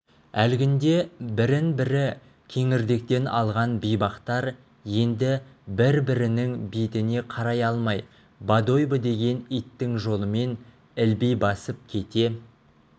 әлгінде бірін бірі кеңірдектен алған бейбақтар енді бір-бірінің бетіне қарай алмай бодойбо деген иттің жолымен ілби басып кете